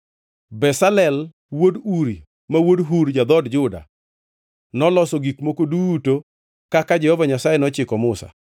(Bezalel wuod Uri ma wuod Hur ja-dhood Juda noloso gik moko duto kaka Jehova Nyasaye nochiko Musa;